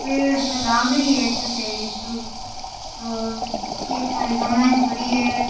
पेड़ के लाग रही है एक --